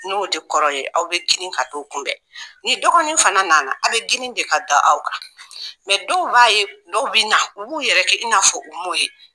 N'o tɛ kɔrɔ ye aw bɛ girin ka to kunbɛn, ni dɔgɔnin fana nana aw bɛ girin de ka da o kan , mɛ dɔw b'a ye dɔw bɛ na, u b'u yɛrɛ kɛ i n'a fɔ u m'o ye.